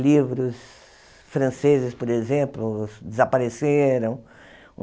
Livros franceses, por exemplo, desapareceram.